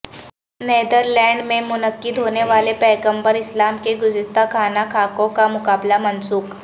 نیدرلینڈمیں منعقدہونے والے پیغمبر اسلام کے گستاخانہ خاکوں کا مقابلہ منسوخ